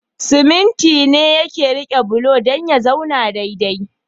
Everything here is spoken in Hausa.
Siminti ne yake rike bulo dan ya zauna dai dai